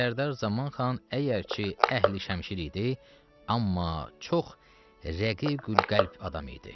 Sərdar Zaman xan əgər ki, əhli-şəmşir idi, amma çox rəqiqül-qəlb adam idi.